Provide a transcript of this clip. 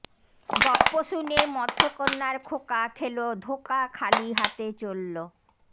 গপ্প শুনে মৎস্যকন্যার খোকা খেলো ধোঁকা খালি হাতে চললো